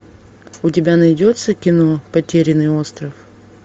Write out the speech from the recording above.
у тебя найдется кино потерянный остров